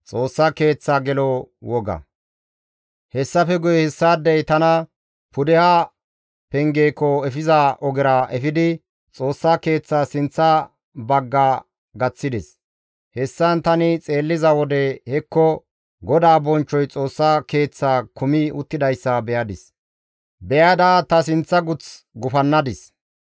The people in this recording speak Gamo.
Hessafe guye hessaadey tana Pudeha Pengeekko efiza ogera efidi, Xoossa Keeththas sinththa bagga gaththides. Hessan tani xeelliza wode hekko, GODAA bonchchoy Xoossa Keeththaa kumi uttidayssa beyadis; beyada ta sinththa guth gufannadis.